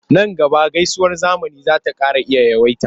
Nan gaba gaisuwar zamani za ta iya ƙara yawaita.